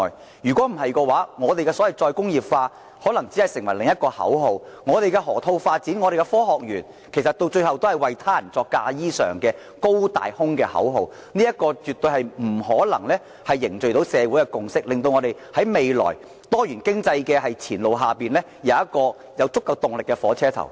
不然，所謂的再工業化，只會成為另一個口號，而我們的河套發展和科學園，到最後也只會變成替他人作嫁衣裳的"高大空"口號，這絕對不可能凝聚社會共識，為我們未來多元經濟進程提供足夠動力的火車頭。